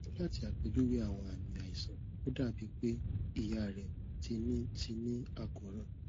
lati apejuwe awọn aami aisan o dabi pe iya rẹ ti ni ti ni akoran